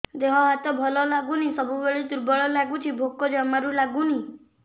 ଦେହ ହାତ ଭଲ ଲାଗୁନି ସବୁବେଳେ ଦୁର୍ବଳ ଲାଗୁଛି ଭୋକ ଜମାରୁ ଲାଗୁନି